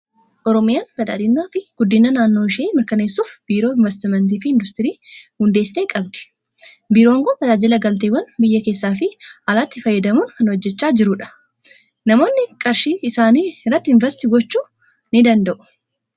Oromiyaan badhaadhinaa fi guddina naannoo ishii mirkaneessuuf, biiroo Investimeentii fi Industirii hundeessitee ni qabdi. Biiroon kun tajaajila galteewwan biyya keessaa fi alaatti fayyadamuun kan hojjechaa jirudha. Namoonnis qarshii isaanii irratti investii gochuu ni danda'u.